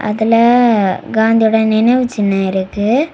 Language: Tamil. அதுல அ காந்தியோட நினைவுச்சின்னம் இருக்கு.